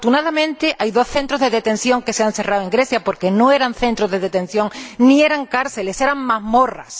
Afortunadamente hay dos centros de detención que se han cerrado en Grecia, porque no eran centros de detención, ni eran cárceles, eran mazmorras